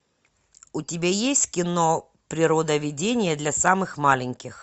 у тебя есть кино природоведение для самых маленьких